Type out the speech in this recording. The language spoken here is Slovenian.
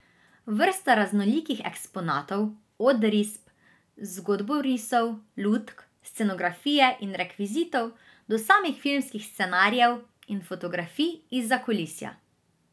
Vrsta raznolikih eksponatov, od risb, zgodborisov, lutk, scenografije in rekvizitov do samih filmskih scenarijev in fotografij izza kulisja.